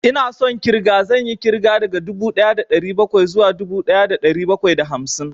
Ina son ƙirga, zan yi ƙirga daga dubu ɗaya da ɗari bakwai zuwa dubu ɗaya da ɗari bakwai da hamsin